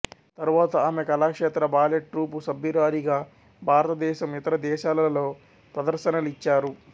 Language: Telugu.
తరువాత ఆమె కళాక్షేత్ర బాలెట్ ట్రూపు సభురాలిగా భారతదేశం యితర దేశాలలో ప్రదర్శనలిచ్చారు